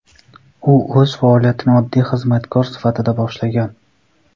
U o‘z faoliyatini oddiy xizmatkor sifatida boshlagan.